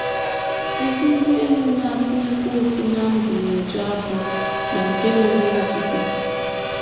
Ezi ndị enyi na - atụnyekwa ụtụ ná ndụ na - eju afọ na nke nwere nzube.